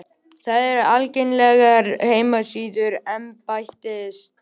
Þær eru aðgengilegar á heimasíðu embættisins